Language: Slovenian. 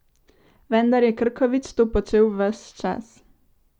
Vendar je Krkovič to počel ves čas.